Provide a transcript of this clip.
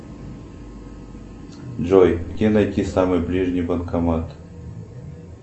джой где найти самый ближний банкомат